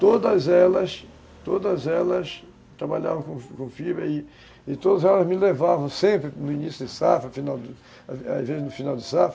Todas elas, todas elas trabalhavam com fibra e todas elas me levavam sempre no início de safra, final, às vezes no final de safra